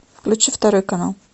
включи второй канал